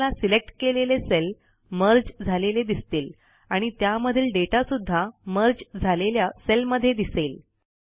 तुम्हाला सिलेक्ट केलेले cell merge झालेले दिसतील आणि त्यामधील डेटा सुध्दा मर्ज झालेल्या सेलमध्ये दिसेल